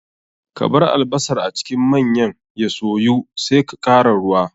Kabar albasar a cikin manyan ya soyu sai ka kara ruwa.